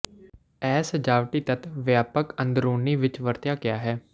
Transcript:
ਇਹ ਸਜਾਵਟੀ ਤੱਤ ਵਿਆਪਕ ਅੰਦਰੂਨੀ ਵਿੱਚ ਵਰਤਿਆ ਗਿਆ ਹੈ